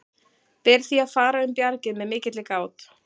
Ber því að fara um bjargið með mikilli gát.